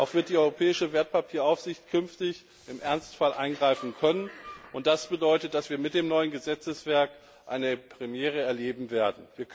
Auch wird die Europäische Wertpapieraufsicht künftig im Ernstfall eingreifen können, und das bedeutet, dass wir mit dem neuen Gesetzeswerk eine Premiere erleben werden.